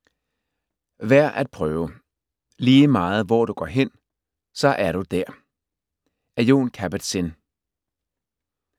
Værd at prøve: "Ligemeget hvor du går hen, så er du der" af Jon Kabat-Zin